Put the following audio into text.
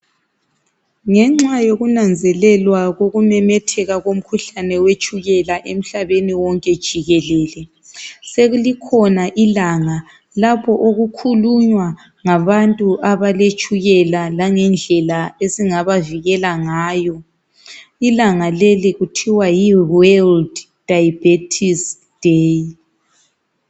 Ngenxa yokunanzelelwa kokumemetheka komkhuhlane wetshukela emhlabeni wonke jikelele sekukhona ilanga lapho okukhulunywa ngabantu abaletshukela langendlela esingabavikela ngayo. Ilanga leli lithwa yi "World Diabetes Day".